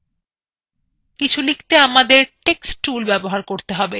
কিছু লিখতে আমাদের text tool ব্যবহার করতে হবে